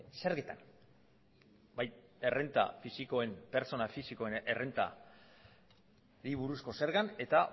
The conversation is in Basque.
zergetan bai pertsona fisikoen errentari buruzko zergak eta